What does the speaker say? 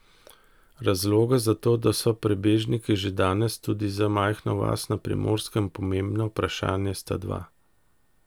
Razloga za to, da so prebežniki že danes, tudi za majhno vas na Primorskem, pomembno vprašanje, sta dva.